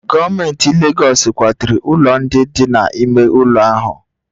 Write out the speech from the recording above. Gọọmenti Legọs kwaturu ụlọ ndị dị n'ime ụlọ ahụ